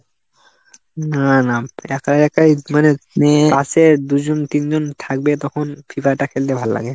না না একাই একাই মানে পাশে দুজন তিনজন থাকবে তখন free fire টা খেলতে ভালো লাগে।